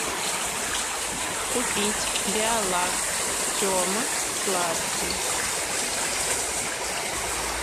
купить биолакт тема сладкий